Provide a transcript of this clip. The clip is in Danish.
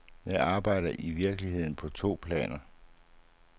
Jeg arbejder i virkeligheden på to planer.